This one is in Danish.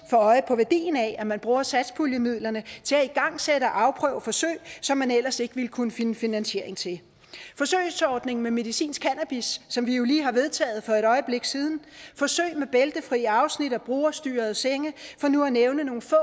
få øje på værdien af at man bruger satspuljemidlerne til at igangsætte og afprøve forsøg som man ellers ikke ville kunne finde finansiering til forsøgsordningen med medicinsk cannabis som vi jo lige har vedtaget for et øjeblik siden forsøg med bæltefri afsnit og brugerstyrede senge for nu at nævne nogle få